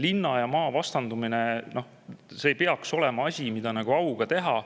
Linna ja maa vastandumine ei tohiks olla asi, mida auga teha.